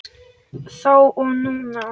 Þá og núna.